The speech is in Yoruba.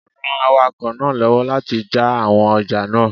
Ran awakọ̀ náà lọ́wọ́ láti jà àwọn ọjà náà